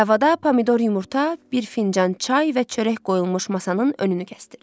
Tavada pomidor yumurta, bir fincan çay və çörək qoyulmuş masanın önünü kəsdirdi.